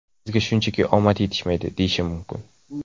Bizga shunchaki omad yetishmadi, deyishim mumkin.